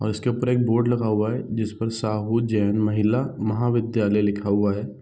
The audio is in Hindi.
और उसके ऊपर एक बोर्ड लगा हुआ है जिसपर साहू जैन महिला महाविद्यालय लिखा हुआ है।